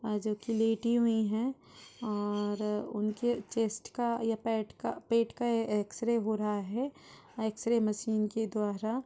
आ जोकि लेटी हुई है और उनके चेस्ट का या पैट का पेट का एक्सरे हो रहा है एक्सरे मशीन के द्वारा।